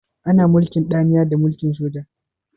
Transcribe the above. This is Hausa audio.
Ana mulkin danniya a mulkin soja.